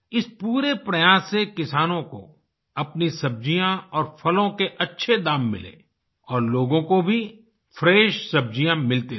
इस पूरे प्रयास से किसानों को अपनी सब्जियाँ और फलों के अच्छे दाम मिले और लोगों को भी फ्रेश सब्जियाँ मिलती रही